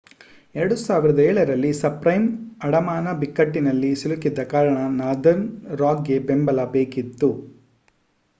2007 ರಲ್ಲಿ ಸಬ್‌ಪ್ರೈಮ್ ಅಡಮಾನ ಬಿಕ್ಕಟ್ಟಿನಲ್ಲಿ ಸಿಲುಕಿದ್ದ ಕಾರಣ ನಾರ್ದರ್ನ್ ರಾಕ್‌ಗೆ ಬೆಂಬಲ ಬೇಕಿತ್ತು